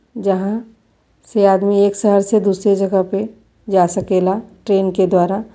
जहां से आदमी एक शहर से दूसरी जगह पे जा सकेला ट्रैन के द्वारा।